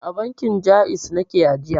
A bankin Ja'iz nake ajiya.